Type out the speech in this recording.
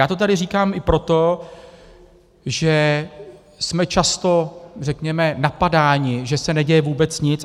Já to tady říkám i proto, že jsme často, řekněme, napadáni, že se neděje vůbec nic.